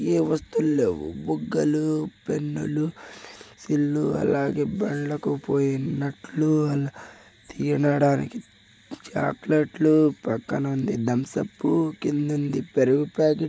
ఈ వస్తువులలో బుగ్గలు పెన్నులు సిళ్లు అలాగే బండకు పోయే నట్లు తినడానికి చాక్లెట్లు పక్కన ఉంది తుమ్స్ అప్ కింద ఉంది పెరుగు ప్యాకెట్ --